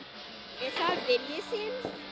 Er það vilji þinn?